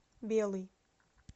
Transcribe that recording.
белый